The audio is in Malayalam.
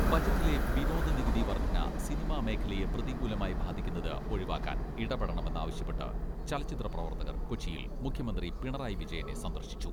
ബജറ്റിലെ വിനോദ നികുതി വർദ്ധന സിനിമാ മേഖലയെ പ്രതികൂലമായി ബാധിക്കുന്നത് ഒഴിവാക്കാൻ ഇടപെടണമെന്ന് ആവശ്യപ്പെട്ട് ചലച്ചിത്ര പ്രവർത്തകർ കൊച്ചിയിൽ മുഖ്യമന്ത്രി പിണറായി വിജയനെ സന്ദർശിച്ചു.